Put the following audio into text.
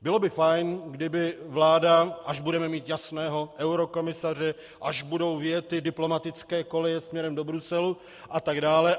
Bylo by fajn, kdyby vláda - až budeme mít jasného eurokomisaře, až budou vyjety diplomatické koleje směrem do Bruselu atd.